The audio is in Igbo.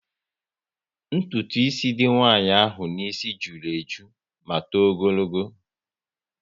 Ntụtụ ísì dị nwanyị ahụ n'isi jụrụ eju ma tọọ ogologo